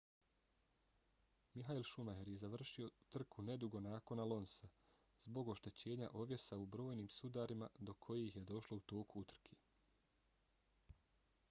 michael schumacher je završio trku nedugo nakon alonsa zbog oštećenja ovjesa u brojnim sudarima do kojih je došlo u toku utrke